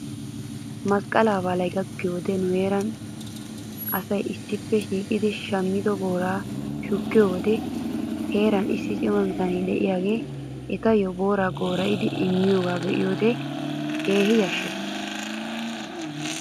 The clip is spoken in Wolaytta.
Masqqalaa baalay gakkiyoo wodiyan nu heeraa asay issippe shiiqettidi shammido booraa shukkiyoo wode heeran issi cima bitanee de'iyaagee etayyo booraa goora'idi immiyoogaa be'iyoo wode keehi yashshes